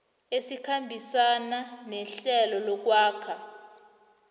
esikhambisana nehlelo lokwakha